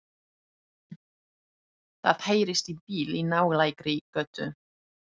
Það heyrist í bíl í nálægri götu.